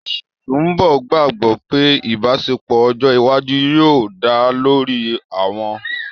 Sùḿbọ̀ gbàgbọ́ pé ìbáṣepọ̀ ọjọ́ iwájú yóò dá lórí ọ̀wọ̀